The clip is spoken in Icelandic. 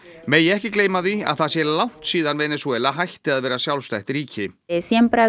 megi ekki gleyma því að það sé langt síðan Venesúela hætti að vera sjálfstætt ríki